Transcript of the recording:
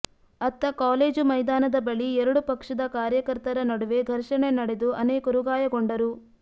ಅತ್ತ ಕಾಲೇಜು ಮೈದಾನದ ಬಳಿ ಎರಡು ಪಕ್ಷದ ಕಾರ್ಯಕರ್ತರ ನಡುವೆ ಘರ್ಷಣೆ ನಡೆದು ಅನೇಕರು ಗಾಯಗೊಂಡರು